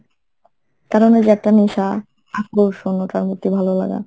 কারণ ওই যে একটা নেশা, আকর্ষণ, ওটার প্রতি ভালোলাগা।